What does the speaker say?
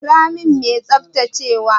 Kira min mai tsaftacewa!